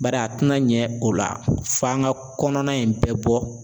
Bari a tɛna ɲɛ o la f'an ka kɔnɔna in bɛɛ bɔ.